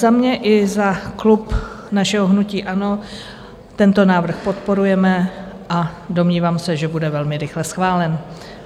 Za mě i za klub našeho hnutí ANO tento návrh podporujeme a domnívám se, že bude velmi rychle schválen.